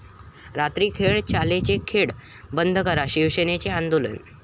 रात्रीस खेळ चाले'चे 'खेळ' बंद करा, शिवसेनेचं आंदोलन